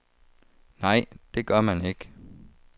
Nej, det gør man ikke.